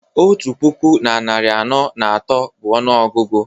otu puku na narị anọ na atọ bụ ọnụọgụgụ